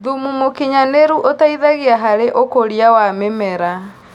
Thũmũ mũkĩnyanĩrũ ũteĩthagĩa harĩ ũkũrĩa wa mĩmera